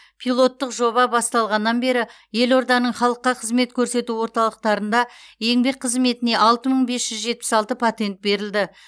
пилоттық жоба басталғаннан бері елорданың халыққа қызмет көрсету орталықтарында еңбек қызметіне алты мың бес жүз жетпіс алты патент берілді